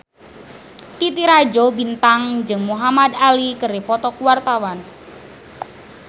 Titi Rajo Bintang jeung Muhamad Ali keur dipoto ku wartawan